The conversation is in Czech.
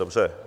Dobře.